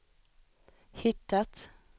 hittat